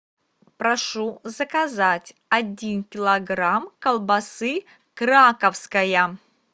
прошу заказать один килограмм колбасы краковская